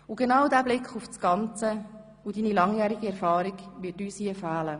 Und genau dieser Blick auf das Ganze und deine langjährige Erfahrung werden uns hier fehlen.